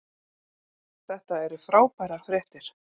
Þetta eru frábærar fréttir